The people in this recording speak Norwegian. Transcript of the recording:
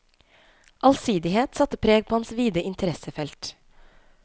Allsidighet satte preg på hans vide interessefelt.